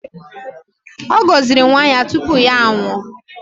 Ọ gọziri nwa ya tupu ya anwụọ